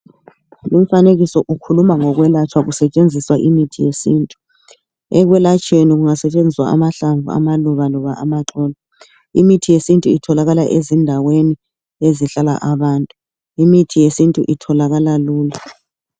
Lumfanekiso ukhuluma ngokwelatshwa kusetshenziswa imithi yesintu ekwelatshweni kungasetshenziswa amahlamvu amaluba loba amaxolo. Imithi yesintu itholakala ezindaweni ezihlala abantu imithi yesintu itholakala lula.